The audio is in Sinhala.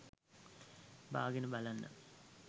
බාගෙන බලන්න.